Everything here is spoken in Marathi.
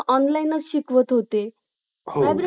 stress कमी होता जेव्हा भीती ही कमी होते